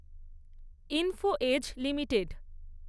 info Edge limited